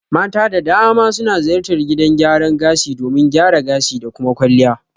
Mata da dama suna ziyartar gidan gyaran gashi domin gyara gashi da kuma kwalliya